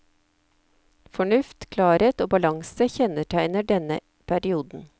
Fornuft, klarhet og balanse kjenntegner denne perioden.